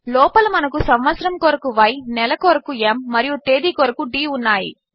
లోపల మనకు సంవత్సరము కొరకు య్ నెల కొరకు m మరియు తేదీ కొరకు d ఉన్నాయి